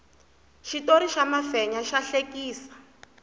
xitori xa mafenya xa hlekisa